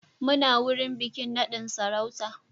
Muna wurin bikin nadin sarauta